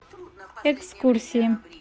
экскурсии